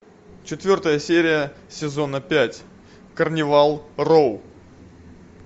четвертая серия сезона пять карнивал роу